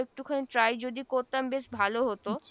একটুখানি try যদি করতাম বেশ ভালো হতো